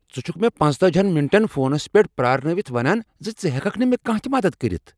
ژٕ چھُکھٕ مےٚ ۴۵ ہن منٹن فونس پٮ۪ٹھ پیٛارنٲوتھ ونان ز ژٕ ہٮ۪ککھ نہٕ مےٚ کانٛہہ تہ مدد کٔرتھ؟